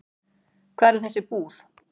Hvar er þessi íbúð?